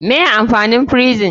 Me amfanin frison?